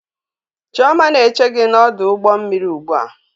Chioma na-eche gi n'ọdụ ụgbọ mmiri ugbua